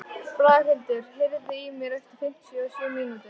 Braghildur, heyrðu í mér eftir fimmtíu og sjö mínútur.